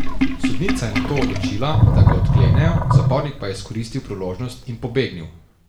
Sodnica je nato odločila, da ga odklenejo, zapornik pa je izkoristil priložnost in pobegnil.